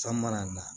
San mana na